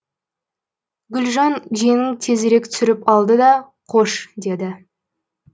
гүлжан жеңін тезірек түсіріп алды да қош деді